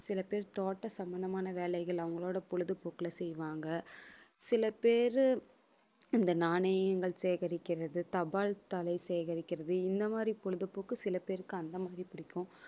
சில பேர் தோட்டம் சம்பந்தமான வேலைகள் அவங்களோட பொழுதுபோக்குல செய்வாங்க. சில பேரு இந்த நாணயங்கள் சேகரிக்கிறது தபால் தலை சேகரிக்கிறது இந்த மாதிரி பொழுதுபோக்கு சில பேருக்கு அந்த மாதிரி பிடிக்கும்